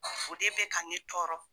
O de bɛ ka ne tɔɔrɔ.